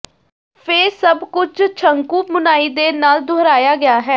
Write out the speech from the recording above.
ਫਿਰ ਸਭ ਕੁਝ ਸ਼ੰਕੂ ਬੁਣਾਈ ਦੇ ਨਾਲ ਦੁਹਰਾਇਆ ਗਿਆ ਹੈ